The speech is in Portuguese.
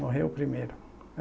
Morreu o primeiro.